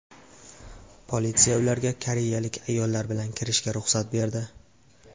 Politsiya ularga koreyalik ayollar bilan kirishiga ruxsat berdi.